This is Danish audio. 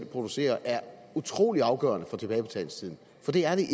producerer er utrolig afgørende for tilbagebetalingstiden for det er